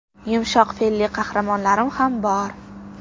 Yumshoq fe’lli qahramonlarim ham bor.